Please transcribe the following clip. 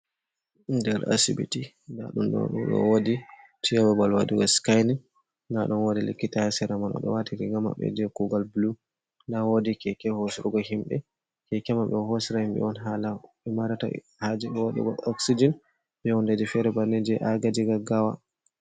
Nder asibiti nda ɗum ɗo wodi je ɓabal waɗugo skining nda ɗum wodi likkita sera man, odo wati riga maɓbe je kugal blu nda wodi keke hosrugo himɓe, keke man ɓe ɗo hosira himɓe on hala be marata haje bo waɗugo oxsijen be hunɗeji fere banni je agajiga gaggawa.